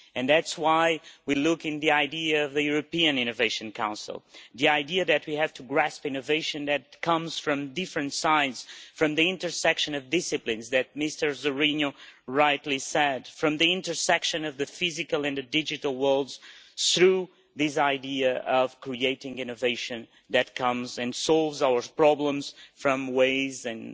That is why we are looking at the idea of the European Innovation Council, the idea that we have to grasp innovation that comes from different sides, from the intersection of disciplines, as Mr Zorrinho rightly said, from the intersection of the physical and the digital worlds, through this idea of creating innovation that comes and solves our problems in ways and